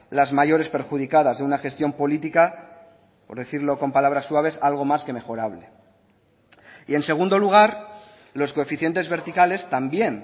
las mayores perjudicadas de una gestión política por decirlo con palabras suaves algo más que mejorable y en segundo lugar los coeficientes verticales también